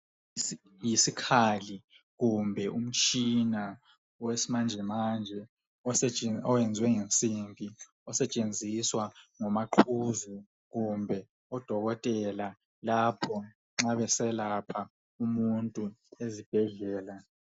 Yisikhali kumbe umtshina wesimanjemanje owenziwe ngensimbi osetshenziswa ngomaqhuzu kumbe odokotela lapho nxa beselapha umuntu ezibhedlela